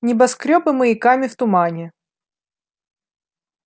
небоскрёбы маяками в тумане